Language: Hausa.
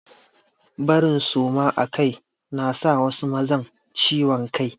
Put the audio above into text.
Barin suma akai na sa wasu mazan ciwon kai.